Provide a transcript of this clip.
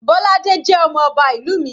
Bolade jẹ́ ọmọ ọba ìlú mi.